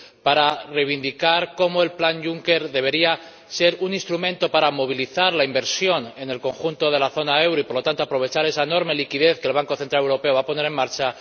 para reivindicar cómo el plan Juncker debería ser un instrumento para movilizar la inversión en el conjunto de la zona del euro y, por lo tanto, aprovechar esa enorme liquidez que el Banco Central Europeo va a poner en marcha